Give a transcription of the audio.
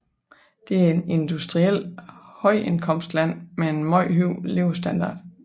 Det er et industrielt højindkomstland med en meget høj levestandard